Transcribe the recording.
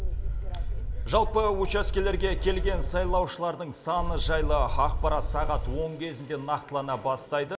жалпы учаскелерге келген сайлаушылардың саны жайлы ақпарат сағат он кезінде нақтылана бастайды